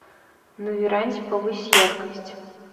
на веранде повысь яркость